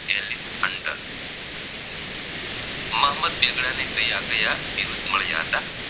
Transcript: મોહમ્મદ બેગડાને કયા કયા બિરુદ્દ મળ્યા હતા